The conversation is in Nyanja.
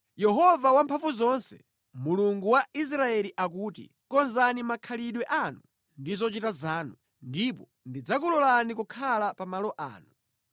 Yehova Wamphamvuzonse, Mulungu wa Israeli akuti: Konzani makhalidwe anu ndi zochita zanu, ndipo ndidzakulolani kukhala pa malo ano.